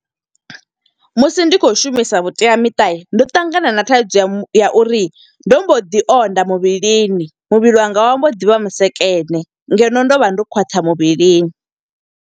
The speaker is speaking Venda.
Musi ndi khou shumisa vhuteamiṱa, ndo ṱangana na thaidzo ya mu, ya uri ndo mbo ḓi onda muvhilini. Muvhili wanga wa mbo ḓivha vhusekene, ngeno ndo vha ndo khwaṱha muvhilini.